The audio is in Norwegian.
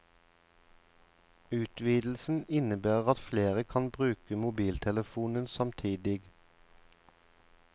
Utvidelsen innebærer at flere kan bruke mobiltelefonen samtidig.